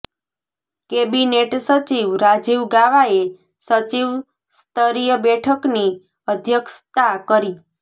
cabinet સચિવ રાજીવ ગાવાએ સચિવ સ્તરીય બેઠકની અધ્યક્ષતા કરી